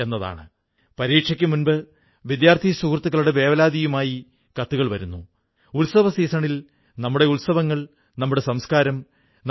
brown ഈ സിനിമ കണ്ടിട്ട് ബാപ്പുവിൽ വളരെ ആകൃഷ്ടനായി ഭാരതത്തിൽ ബാപുവിന്റെ ആശ്രമത്തിലെത്തി ബാപ്പുവിനെക്കുറിച്ച് കൂടുതൽ അറിയുകയും മനസ്സിലാക്കുകയും ചെയ്തു